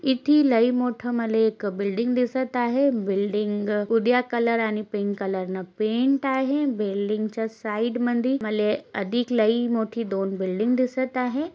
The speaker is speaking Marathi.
येथे लई मोठं मला एक बिल्डिंग दिसत आहे बिल्डिंग कलर आणि पिंक कलरनं पेंट आहे बिल्डिंगच्या साईडमधी मला एक अधिक लई मोठी दोन बिल्डिंग दिसत आहे.